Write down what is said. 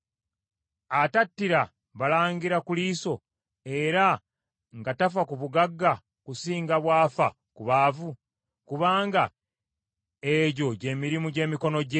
atattira balangira ku liiso era nga tafa ku bagagga kusinga bw’afa ku baavu, kubanga egyo gye mirimu gy’emikono gye?